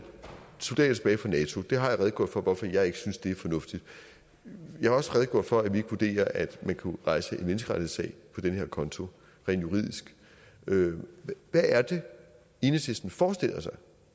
soldater tilbage fra nato det har jeg redegjort for hvorfor jeg ikke synes er fornuftigt jeg har også redegjort for at vi ikke vurderer at man kan rejse en menneskerettighedssag på den her konto rent juridisk hvad er det enhedslisten forestiller sig